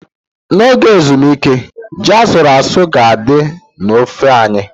N'oge ezumike, ji asuru-asu ga-adị na ofe anyị.